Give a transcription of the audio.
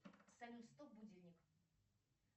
салют стоп будильник